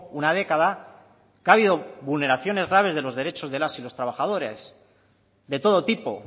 una década que ha habido vulneraciones graves de los derechos de las y los trabajadores de todo tipo